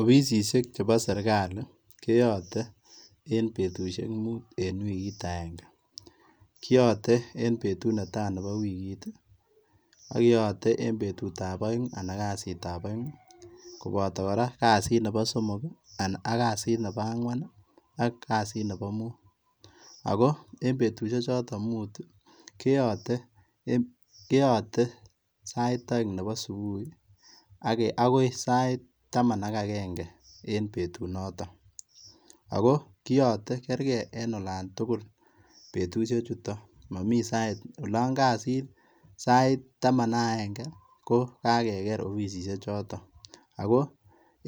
Offisisiek chebo serikali keyoten en betushek mut en wiki agenge kiyoten en betu netai nebo wikit tii, ak keyote en betu ab oeng anan kasit ab oeng koboto koraa kasit nebo somok ak kasit nebo angwan ak kasit nebo mut, ako en betushek choton mut tii keyoten en keyote sait oeng nebo subui iih akoi sait taman ak aenge en betu noton, ako koyote kerke en olon tukul betushek chutok monii sait olon kosir sait taman ak agenge ko kakeker offisisiek choton ako